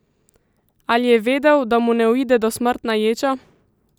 Ali je vedel, da mu ne uide dosmrtna ječa?